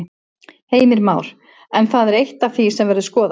Heimir Már: En það er eitt af því sem verður skoðað?